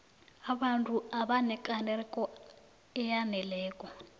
abantu abanekareko eyaneleko